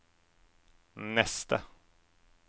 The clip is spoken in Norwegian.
neste